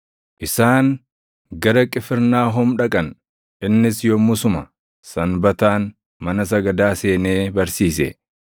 Isaan gara Qifirnaahom dhaqan; innis yommusuma Sanbataan mana sagadaa seenee barsiise.